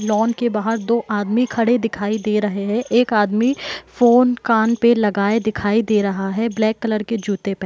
lawn के बाहर दो आदमी खड़े दिखाई दे रहे हैं एक आदमी फोन कान पे लगाए दिखाई दे रहा है ब्लैक कलर के जूते प --